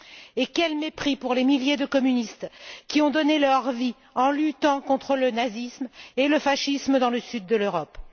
Et quel mépris pour les milliers de communistes qui ont donné leur vie en luttant contre le nazisme et le fascisme dans le sud de l'Europe.